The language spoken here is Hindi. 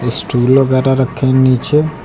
स्टूल वगैरा रखे है नीचे।